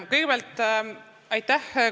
Kõigepealt, aitäh!